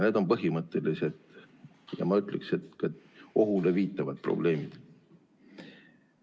Need on põhimõttelised ja ma ütleksin, et ohule viitavad probleemid.